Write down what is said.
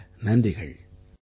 பலப்பல நன்றிகள்